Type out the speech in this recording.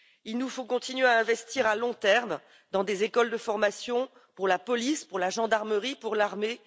Il nous faut continuer à investir à long terme dans des écoles de formation pour la police, pour la gendarmerie, pour l'armée.